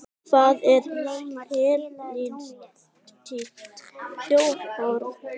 Hvað er femínískt sjónarhorn?